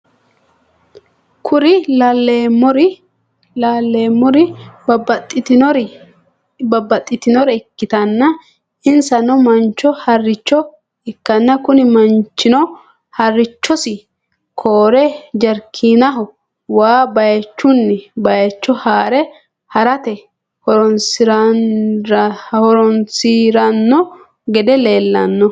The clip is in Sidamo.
Kuri lalemorri babatitinore ikitana insano; mancho, haricho ikana kuni manchino harichosi korre jarikanaho waa bayichunni bayicho harre harate horonisirano gede lellano